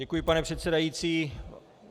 Děkuji, pane předsedající.